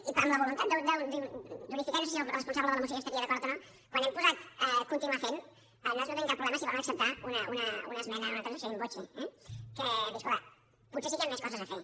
i amb la voluntat d’unificar i no sé si el responsable de la moció hi estaria d’acord o no quan hem posat continuar fent nosaltres no tenim cap problema si volen acceptar una esmena o una transacció in voce eh dir escolta potser sí que hi han més coses a fer